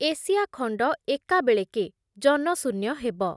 Asia ଖଣ୍ଡ ଏକାବେଳେକେ ଜନଶୂନ୍ୟ ହେବ ।